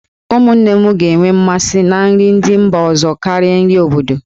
Ụmụnne m ga-enwe mmasị na nri ndị mba ọzọ karịa nri obodo.